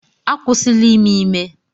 Akwụsịla ime ime!